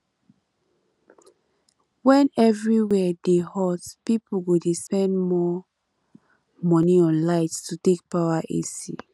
when everywhere dey hot pipo go spend more money on light to take power ac